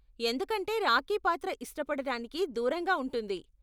ఎందుకంటే రాకీ పాత్ర ఇష్టపడటానికి దూరంగా ఉంటుంది.